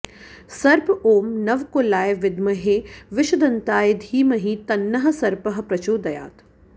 सर्प ॐ नवकुलाय विद्महे विषदन्ताय धीमहि तन्नः सर्पः प्रचोदयात्